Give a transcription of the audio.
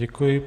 Děkuji.